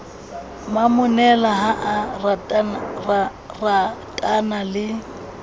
momonela ha a ratana le